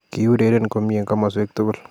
Ki ureren komie en komoswek tugul